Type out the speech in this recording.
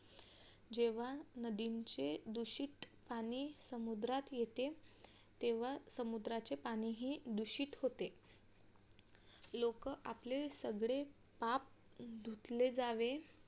जेव्हा नदीचे दूषित पाणी समुद्रात येते तेव्हा समुद्राचे पाणीही दूषित होते लोक आपले सगळे पाप धुतले जावे